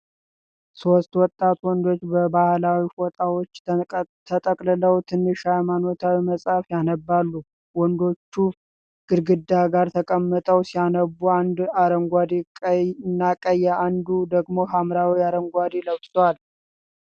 ሦስት ወጣት ወንዶች በባህላዊ ፎጣዎችን ተጠቅልለው ትንሽ ሃይማኖታዊ መጽሐፍ ያነባሉ። ወንዶቹ ግድግዳ ጋር ተቀምጠው ሲያነቡ፣ አንዱ አረንጓዴና ቀይ አንዱ ደግሞ ሐምራዊና አረንጓዴ ለብሷል።